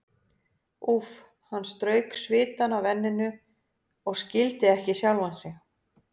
Úff, hann strauk svitann af enninu og skildi ekki sjálfan sig.